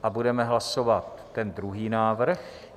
A budeme hlasovat ten druhý návrh.